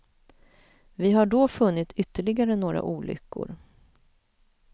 Vi har då funnit ytterligare några olyckor.